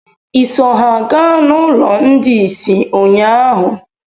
Ịso ha gaa n'ụlọ ndị isi ụnyaahụ?